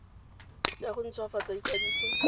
ya go nt hwafatsa ikwadiso